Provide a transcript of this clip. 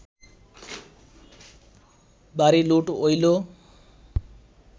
বাড়ি লুট অইল